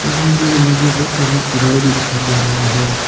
इसमें ये मुझे बहुत सारे घर भी दिखाई दे रहा है।